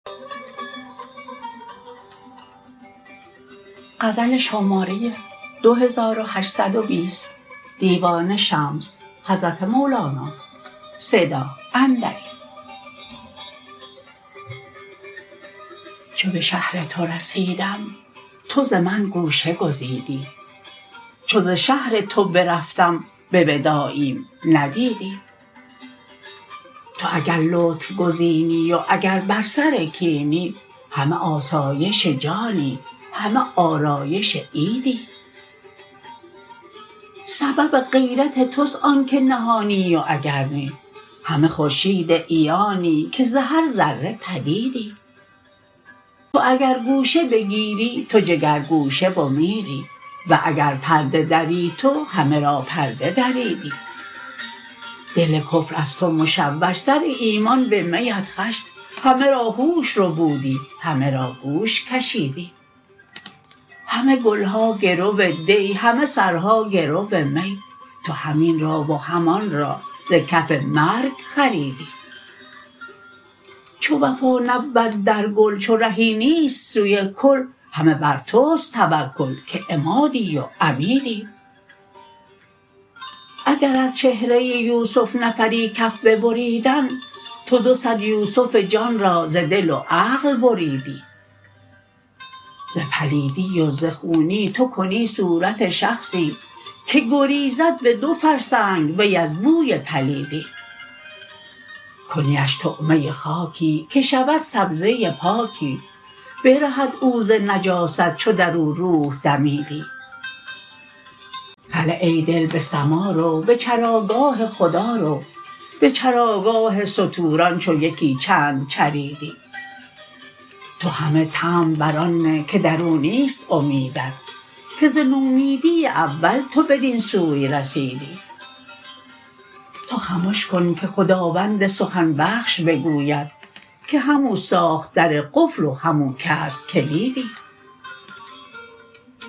چو به شهر تو رسیدم تو ز من گوشه گزیدی چو ز شهر تو برفتم به وداعیم ندیدی تو اگر لطف گزینی و اگر بر سر کینی همه آسایش جانی همه آرایش عیدی سبب غیرت توست آنک نهانی و اگر نی همه خورشید عیانی که ز هر ذره پدیدی تو اگر گوشه بگیری تو جگرگوشه و میری و اگر پرده دری تو همه را پرده دریدی دل کفر از تو مشوش سر ایمان به می ات خوش همه را هوش ربودی همه را گوش کشیدی همه گل ها گرو دی همه سرها گرو می تو هم این را و هم آن را ز کف مرگ خریدی چو وفا نبود در گل چو رهی نیست سوی کل همه بر توست توکل که عمادی و عمیدی اگر از چهره یوسف نفری کف ببریدند تو دو صد یوسف جان را ز دل و عقل بریدی ز پلیدی و ز خونی تو کنی صورت شخصی که گریزد به دو فرسنگ وی از بوی پلیدی کنیش طعمه خاکی که شود سبزه پاکی برهد او ز نجاست چو در او روح دمیدی هله ای دل به سما رو به چراگاه خدا رو به چراگاه ستوران چو یکی چند چریدی تو همه طمع بر آن نه که در او نیست امیدت که ز نومیدی اول تو بدین سوی رسیدی تو خمش کن که خداوند سخن بخش بگوید که همو ساخت در قفل و همو کرد کلیدی